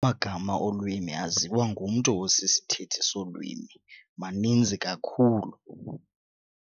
Amagama olwimi aziwa ngumntu osisithethi solwimi maninzi kakhulu.